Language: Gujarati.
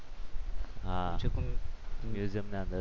હા મ્યુઝિયમ ની અંદર